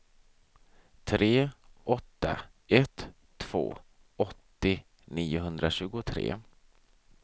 tre åtta ett två åttio niohundratjugotre